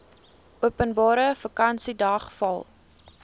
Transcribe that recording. openbare vakansiedag val